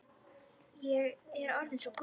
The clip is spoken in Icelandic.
Ég er orðin svo gömul.